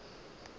ba be ba tloga ba